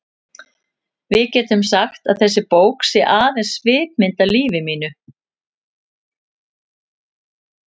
Við getum sagt að þessi bók sé aðeins svipmynd af lífi mínu.